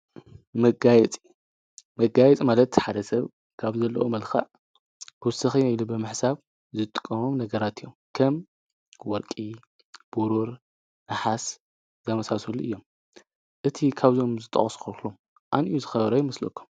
ጋይመጋይጥ መለት ሓደ ሰብ ካብ ዘለኦ መልካዕ ወስኺ ይኢሉ ብማሕሳብ ዝጥቆሞም ነገራት እዮም ። ከም ወርቂ ቡሩር፣ ንሓስ ዘመሳሱሉ እዮም ።እቲ ኻብዞም ዝጠቖስኽርኽሎም ኣንእዩ ዝኸበረ ኣይምስለኩ?